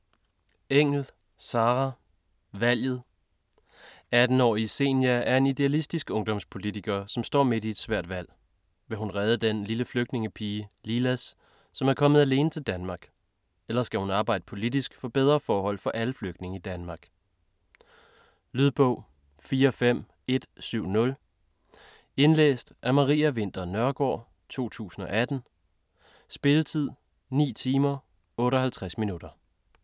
Engell, Sarah: Valget 18-årige Zenia er en idealistisk ungdomspolitiker, som står midt i et svært valg. Vil hun redde den lille flygtningepige, Lilas, som er kommet alene til Danmark? Eller skal hun arbejde politisk for bedre forhold for alle flygtninge i Danmark? Lydbog 45170 Indlæst af Maria Winther Nørgaard, 2018. Spilletid: 9 timer, 58 minutter.